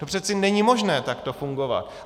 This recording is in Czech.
To přece není možné takto fungovat.